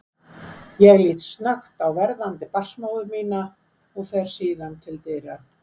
Ég lít snöggt á verðandi barnsmóður mína og fer síðan til dyra.